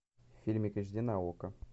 фильмик эйч ди на окко